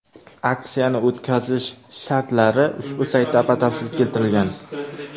Aksiyani o‘tkazish shartlari ushbu saytda batafsil keltirilgan.